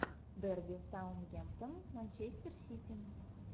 дерби саутгемптон манчестер сити